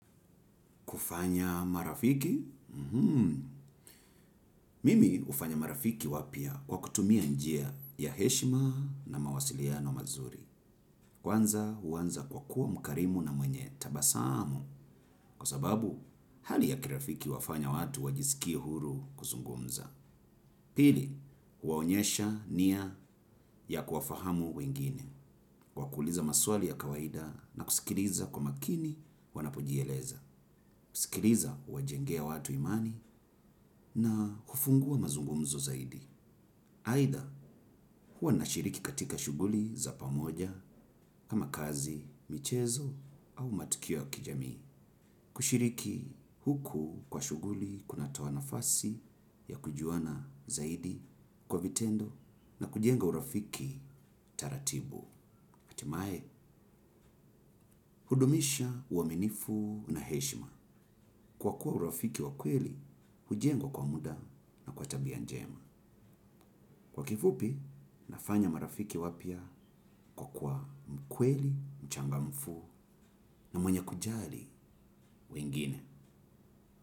Kufanya marafiki Mimi hufanya marafiki wapya kwa kutumia njia ya heshima na mawasiliano mazuri. Kwanza huanza kwa kuwa mkarimu na mwenye tabasamu. Kwa sababu, hali ya kirafiki huwafanya watu wajisikie huru kuzungumza. Pili, huwaonyesha nia ya kuwafahamu wengine. Kwa kuuliza maswali ya kawaida na kusikiliza kwa makini wanapojieleza. Kusikiliza huwajengea watu imani na kufungua mazungumzo zaidi. Aidha huwa nashiriki katika shughuli za pamoja kama kazi, michezo au matukio ya kijamii. Kushiriki huku kwa shughuli kunatoa nafasi ya kujuana zaidi kwa vitendo na kujenga urafiki taratibu. Hatimaye, hudumisha uaminifu na heshima. Kwa kuwa urafiki wa kweli, hujengwa kwa muda na kwa tabia njema. Kwa kifupi, nafanya marafiki wapya kwa kuwa mkweli, mchangamfu na mwenye kujali wengine.